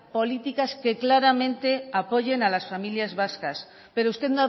políticas que claramente apoyen a las familias vascas pero usted